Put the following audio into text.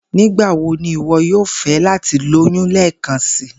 Nigbawo ni iwọ yoo fẹ lati loyun lẹẹkansi?